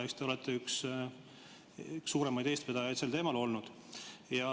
Te olete üks suuremaid eestvedajaid sel teemal olnud.